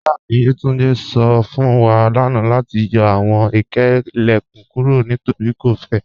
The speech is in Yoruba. Iyaafin Yetúndé sọ fun wa lánà lati yọ awọn ilẹ̀kún kúrò nítorí kò fẹ̀.